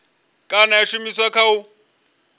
kana ya shumiswa kha u